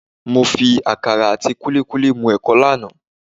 Mo fi àkàrà àti kúlíkúlí mú ẹ̀kọ lánàá